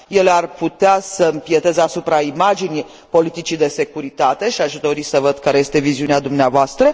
Ele ar putea să impieteze asupra imaginii politicii de securitate, și aș dori să văd care este viziunea dumneavoastră.